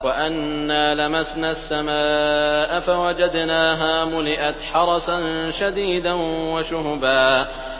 وَأَنَّا لَمَسْنَا السَّمَاءَ فَوَجَدْنَاهَا مُلِئَتْ حَرَسًا شَدِيدًا وَشُهُبًا